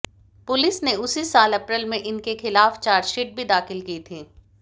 police ने उसी साल अप्रैल में इनके खिलाफ चार्जशीट भी दाखिल की थी